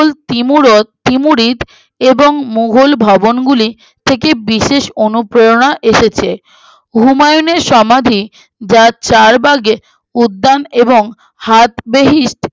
তিমুরত ত্রিমুরিত এবং মুঘল ভবনগুলি থেকে বিশেষ অনুপ্রেরণা এসেছে আহ হুমায়ুনের সমাধি যার চারবাগে উদ্যান এবং হাতবেহিত